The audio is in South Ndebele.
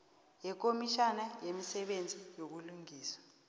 yekomitjhana yemisebenzi yobulungiswa